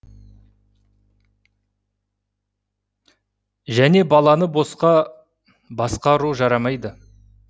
және баланы басқа ұру жарамайды